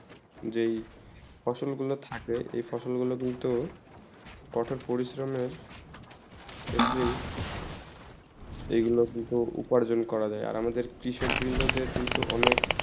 যেই ফসল গুলু থাকে এই ফসল গুলু কিন্তু কথন পরিশ্রমে ক্ষেত্রে এই গুলু কিন্তু উপার্জন করা যায় আর আমাদের কৃষক বৃন্দদের কিন্তু অনেক